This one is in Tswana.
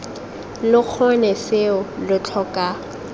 lo kgone seo lo tlhoka